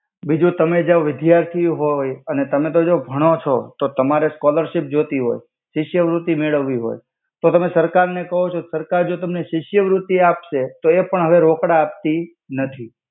બિજુ તમે જો વિદ્યાર્થી હોય અને તમે તો જો ભણો છો તો તમારે જો સ્કૉલરશિપ જોતી હોય શિષ્યવૃત્તિ મેડવી હોય તો તમે કહો છો સરકાર જો તમનેશિષ્યવૃત્તિ આપસે તો એ પણ હવે હવે રોકડા આપતી નાથી.